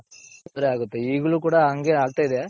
ತೊಂದರೆ ಆಗುತ್ತೆ ಈಗಲೂ ಕೂಡ ಹಂಗೆ ಆಗ್ತಾ ಇದೆ.